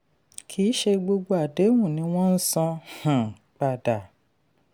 kì í ṣe gbogbo àdéhùn ni wọ́n san um padà.